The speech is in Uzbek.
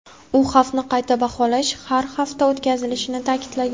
U xavfni qayta baholash har hafta o‘tkazilishini ta’kidlagan.